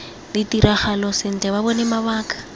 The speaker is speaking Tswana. ditiragalo sentle ba bone mabaka